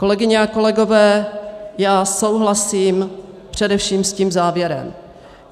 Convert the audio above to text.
Kolegyně a kolegové, já souhlasím především s tím závěrem.